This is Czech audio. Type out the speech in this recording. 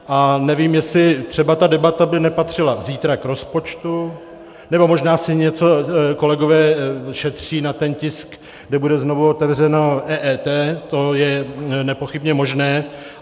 A nevím, jestli třeba ta debata by nepatřila zítra k rozpočtu, nebo možná si něco kolegové šetří na ten tisk, kde bude znovu otevřeno EET, to je nepochybně možné.